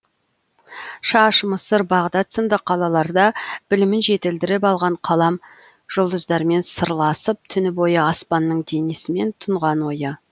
шаш мысыр бағдат сынды қалаларда білімін жетілдіріп алған қалам жұлдыздармен сырласып түні бойы аспанның денесімен тұнған ойы